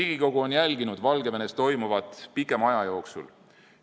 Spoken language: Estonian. Riigikogu on jälginud Valgevenes toimuvat pikema aja jooksul.